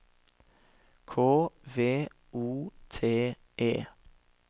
K V O T E